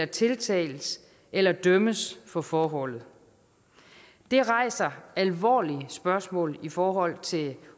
tiltales eller dømmes for forholdet det rejser alvorlige spørgsmål i forhold til